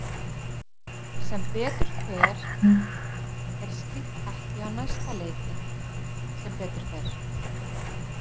Sem betur fer er slíkt ekki á næsta leiti sem betur fer.